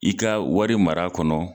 I ka wari mara kɔnɔ